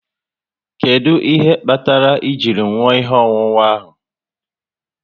Kedụ ihe kpatara ji nwụọ ihe ọṅụṅụ ahụ?